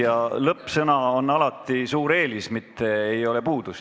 Ja lõpetuseks öeldud sõna on alati suur eelis, mitte puudus.